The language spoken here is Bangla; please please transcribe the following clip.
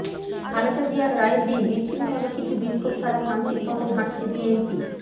খালেদা জিয়ার রায়ের দিন বিচ্ছিন্নভাবে কিছু বিক্ষোভ ছাড়া শান্তির পথেই হাঁটছে বিএনপি